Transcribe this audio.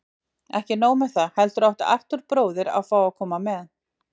Ekki nóg með það, heldur átti Arthúr bróðir að fá að koma með.